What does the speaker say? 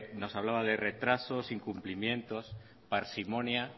nos hablaba de retrasos de incumplimientos parsimonia